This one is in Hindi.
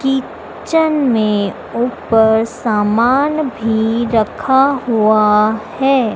किचन में ऊपर सामान भी रखा हुआ हैं।